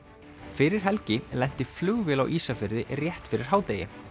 fyrir helgi lenti flugvél á Ísafirði rétt fyrir hádegi